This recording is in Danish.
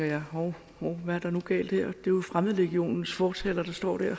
jeg hov hvad er der nu galt her jo fremmedlegionens fortaler der står der